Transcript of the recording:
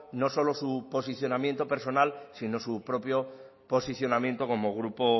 no solo su posicionamiento personal sino su propio posicionamiento como grupo